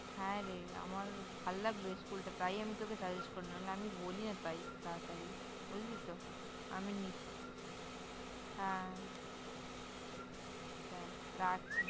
হ্যাঁ! রে আমার ভাল লাগল School টা, তাই আমি তোকে Suggest করলাম । নাহলে আমি বলি না তাই তাড়াতাড়ি, বুঝলি তো? আমি হ্যাঁ! চল রাখছি ।